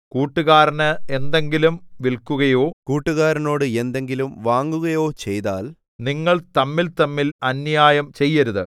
കൂട്ടുകാരന് എന്തെങ്കിലും വില്ക്കുകയോ കൂട്ടുകാരനോട് എന്തെങ്കിലും വാങ്ങുകയോ ചെയ്താൽ നിങ്ങൾ തമ്മിൽതമ്മിൽ അന്യായം ചെയ്യരുത്